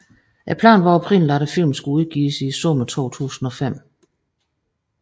Planen var oprindeligt at filmen skulle udgives i sommeren 2005